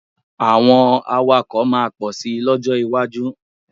Àwọn awakọ̀ máa pọ̀ sì lọ́jọ́ iwájú.